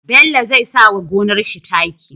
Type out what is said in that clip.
Bello zai sawa gonar shi taki